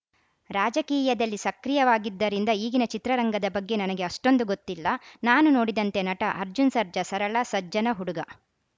ರಾಜಕೀಯದಲ್ಲಿ ಸಕ್ರಿಯವಾಗಿದ್ದರಿಂದ ಈಗಿನ ಚಿತ್ರರಂಗದ ಬಗ್ಗೆ ನನಗೆ ಅಷ್ಟೊಂದು ಗೊತ್ತಿಲ್ಲ ನಾನು ನೋಡಿದಂತೆ ನಟ ಅರ್ಜುನ್‌ ಸರ್ಜಾ ಸರಳ ಸಜ್ಜನ ಹುಡುಗ